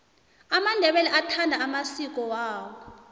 amandebele athanda amasiki awo